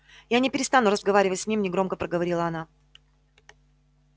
я не перестану разговаривать с ним негромко проговорила она